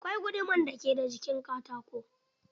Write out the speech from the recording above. Akwai guduman da ke da jikin katako.